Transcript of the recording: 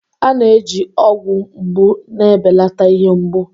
A na-eji ọgwụ mgbu na-ebelata ihe mgbu.